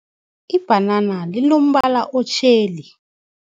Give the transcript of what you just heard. Ibhanana linombala otjheli.